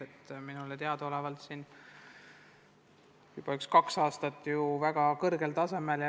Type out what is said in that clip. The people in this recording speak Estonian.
Ja minule teadaolevalt juba kaks aastat ja väga kõrgel tasemel.